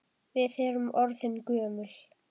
Við erum orðin gömul.